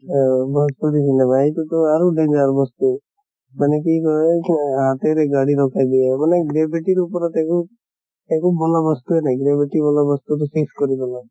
অহ Bhojpuri cinema সেইতোটো আৰু danger বস্তু। মানে কি কয় হাতেৰে গাড়ী ৰখাই দিয়ে, মানে gravity ৰ ওপৰত একো একো বন্দৱস্ত নাই। gravity বুলা বস্তু টো শেষ কৰি পেলাইছে।